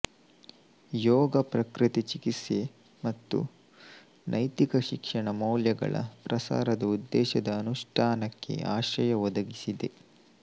ಯೋಗ ಪ್ರಕೃತಿ ಚಿಕಿತ್ಸೆ ಮತ್ತು ನೈತಿಕ ಶಿಕ್ಷಣ ಮೌಲ್ಯಗಳ ಪ್ರಸಾರದ ಉದ್ದೇಶದ ಅನುಷ್ಠಾನಕ್ಕೆ ಆಶ್ರಯ ಒದಗಿಸಿದೆ